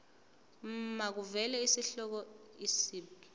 makuvele isihloko isib